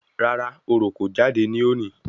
Rárá, oro kò jáde ní òní